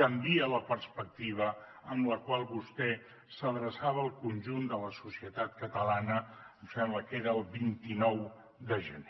canvia la perspectiva amb la qual vostè s’adreçava al conjunt de la societat catalana em sembla que era el vint nou de gener